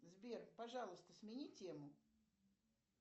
сбер пожалуйста смени тему